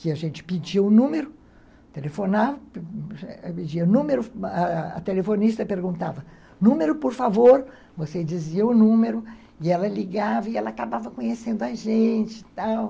que a gente pedia o número, telefonava, pedia o número, a telefonista perguntava, número, por favor, você dizia o número, e ela ligava e ela acabava conhecendo a gente... e tal